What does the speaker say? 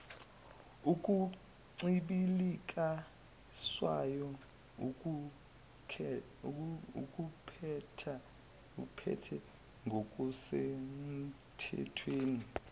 okuncibilikiswayo akuphethe ngokusenmthethweni